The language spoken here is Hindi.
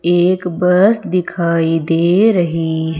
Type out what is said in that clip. एक बस दिखाई दे रही है।